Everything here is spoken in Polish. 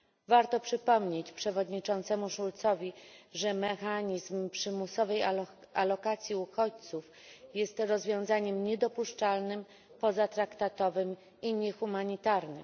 Warto przypomnieć przewodniczącemu Schulzowi, że mechanizm przymusowej alokacji uchodźców jest rozwiązaniem niedopuszczalnym, pozatraktatowym i niehumanitarnym.